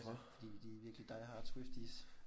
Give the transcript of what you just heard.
Fordi de er virkelig die hard Swifties